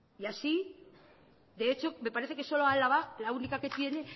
y así de hecho me parece que solo álava la única que tiene